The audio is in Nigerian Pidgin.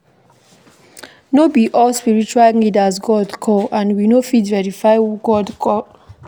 No be all spritual leaders God call and we no fit verify who God call